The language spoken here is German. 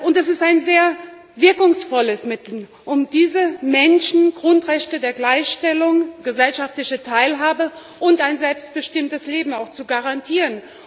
Es ist ein sehr wirkungsvolles Mittel, um diesen Menschen auch Grundrechte der Gleichstellung, gesellschaftliche Teilhabe und ein selbstbestimmtes Leben zu garantieren.